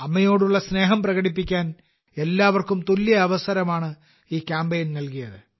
അമ്മയോടുള്ള സ്നേഹം പ്രകടിപ്പിക്കാൻ എല്ലാവർക്കും തുല്യ അവസരമാണ് ഈ കാമ്പയിൻ നൽകിയത്